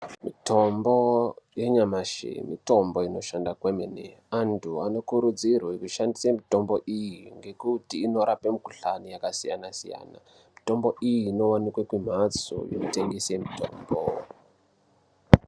Mitombo yenyamashi mitombo inoshanda kwemene. Antu anokurudzirwe kushandise mitombo iyi ngekuti inorape mikuhlani yakasiyana siyana. Mitombo iyi inowanikwa kumhatso inotengese mitombo.